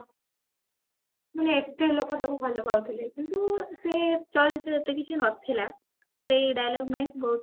ମାନେ ଏତେ ଲୋକ ତାକୁ ଭଲ ପାଉଥିଲେ କିନ୍ତୁ ସେ ଚଳଚିତ୍ର ଏତେ କିଛି ନଥିଲା ସେଇ dialog ପାଇଁ ସେ ବହୁତ